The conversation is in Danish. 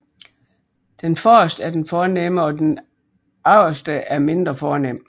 Den forreste er den fornemme og den agterste er mindre fornem